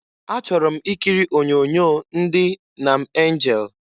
Achọrọ m ikiri onyoonyo ndị Nam Anjel.